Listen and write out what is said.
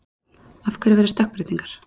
Af hverju verða stökkbreytingar?